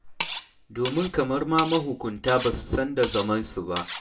Domin kamar ma mahukunta ba su san da zamansu ba.